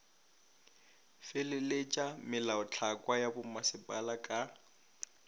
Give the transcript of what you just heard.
feleletša melaotlhakwa ya bommasepala ka